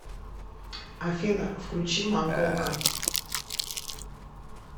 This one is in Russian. афина включи монголка